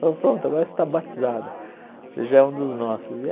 Falou, pronto, agora você está batizado, já é um dos nossos.